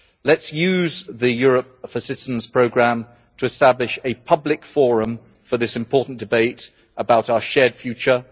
Let us use the Europe for Citizens programme to establish a public forum for this important debate about our shared future.